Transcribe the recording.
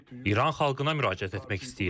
İran xalqına müraciət etmək istəyirəm.